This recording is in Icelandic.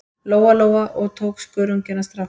Lóa-Lóa og tók skörunginn af stráknum.